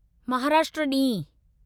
महाराष्ट्र ॾींहुं